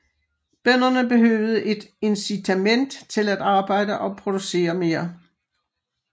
Bønderne behøvede et incitament til at arbejde og producere mere